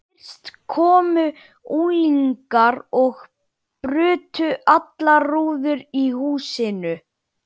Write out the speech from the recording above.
Fyrst komu unglingar og brutu allar rúður í húsinu.